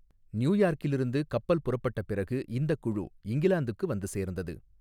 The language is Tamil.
நியூயார்க்கிலிருந்து கப்பல் புறப்பட்ட பிறகு இந்தக் குழு இங்கிலாந்துக்கு வந்து சேர்ந்தது.